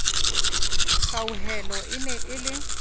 kgauhelo e ne e le